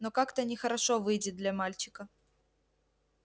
но как-то нехорошо выйдет для мальчика